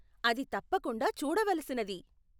అది తప్పకుండా చూడవలసినది.